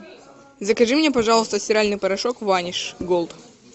закажи мне пожалуйста стиральный порошок ваниш голд